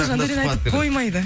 жандаурен айтып қоймайды